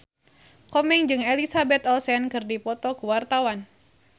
Komeng jeung Elizabeth Olsen keur dipoto ku wartawan